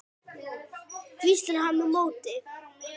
hvíslar hann á móti.